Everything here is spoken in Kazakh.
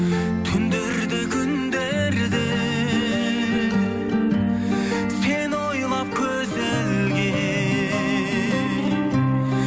түндер де күндер де сені ойлап көз ілгенмін